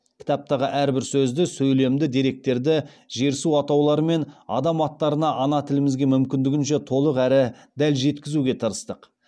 кітаптағы әрбір сөзді сөйлемді деректерді жер су атаулары мен адам аттарына ана тілімізге мүмкіндігінше толық әрі дәл жеткізуге тырыстық